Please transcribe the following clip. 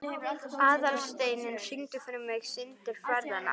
Aðalsteinunn, syngdu fyrir mig „Syndir feðranna“.